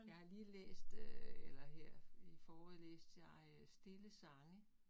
Jeg har lige læst øh eller her i forrige læste jeg øh Stille Sange